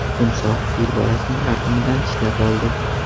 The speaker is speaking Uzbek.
Timsoh fil bolasining xartumidan tishlab oldi.